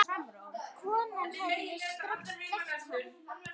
Konan hefði strax þekkt hann.